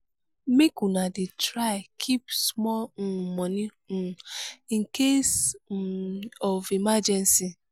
make una dey try keep small um moni um in case um of emergency.